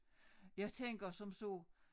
Jeg tænker som så